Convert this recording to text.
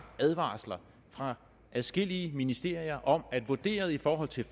advarsler fra adskillige ministerier om at vurderet i forhold til